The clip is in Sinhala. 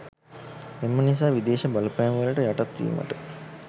එම නිසා විදේශ බලපෑම්වලට යටත්වීමට